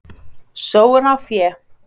Sóun á fé